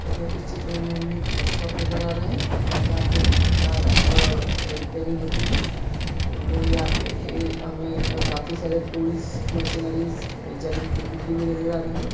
अ इस चित्र में हमें एक वर्कशॉप नज़र आ रहा है अ जहाँ पे एक कार अ_ अ रिपेयरिंग होती है और यहा ए पे हमें ए काफी सारे टूल्स मिशनरीज जमीन पर बिखरी हुई नज़र आ रही है।